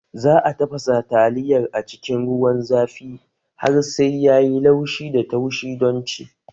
Za a tafasa taliyar a cikin ruwan zafi har sai ya yi laushi da taushi don ci